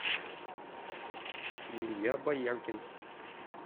илья бояркин